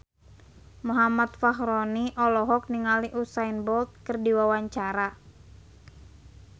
Muhammad Fachroni olohok ningali Usain Bolt keur diwawancara